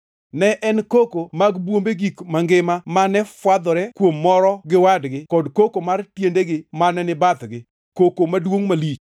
Ne en koko mag bwombe gik mangima mane fwadhore kuom moro gi wadgi kod koko mar tiendegi mane ni bathgi; koko maduongʼ malich.